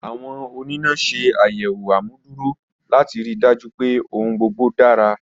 Awọn onina ṣe ayẹwo amuduro lati rii daju pe ohun gbogbo dara.